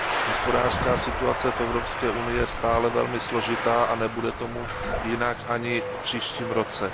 Hospodářská situace v Evropské unii je stále velmi složitá a nebude tomu jinak ani v příštím roce.